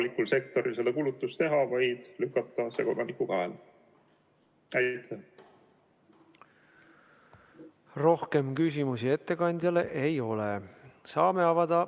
Lisaks soovime võimaldada kontrolltehingut tegeval ametiisikul kasutada näiteks e-poes või -platvormil kontrolltehingu tegemisel väljamõeldud nime, et vältida olukorda, kus ettevõtja väljastab ametnikule tavapärasest erineva toote.